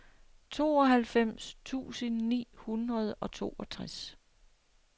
tooghalvfems tusind ni hundrede og toogtres